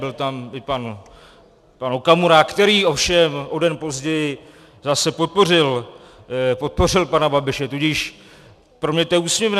Byl tam i pan Okamura, který ovšem o den později zase podpořil pana Babiše, tudíž pro mě je to úsměvné.